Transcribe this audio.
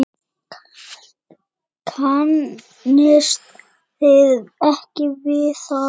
Kannist þið ekki við það?